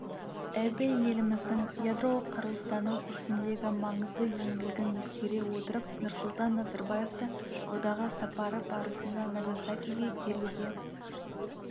абэ еліміздің ядролық қарусыздану ісіндегі маңызды еңбегін ескере отырып нұрсұлтан назарбаевты алдағы сапары барысында нагасакиге келуге